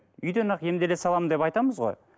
үйден ақ емделе саламын деп айтамыз ғой